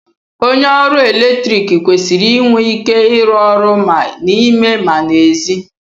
onye oru eletrik kwesịrị inwe ike ịrụ ọrụ ma n'ime ma n'èzí